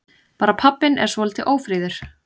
Bara pabbinn er svolítið ófríður.